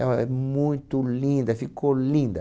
É uma, é muito linda, ficou linda.